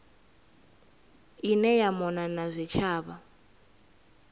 ine ya mona na zwitshavha